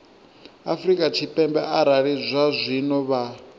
afrika tshipembe arali zwazwino vha